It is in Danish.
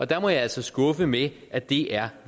der må jeg altså skuffe med at det er